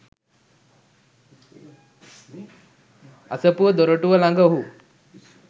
අසපුව දොරටුව ළඟ ඔහු